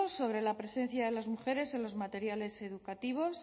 sobre la presencia de las mujeres en los materiales educativos